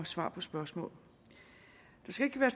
svar på spørgsmål der skal ikke være